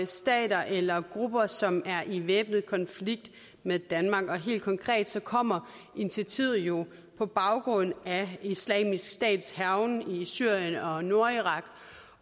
stater eller grupper som er i væbnet konflikt med danmark helt konkret kommer initiativet jo på baggrund af islamisk stats hærgen i syrien og nordirak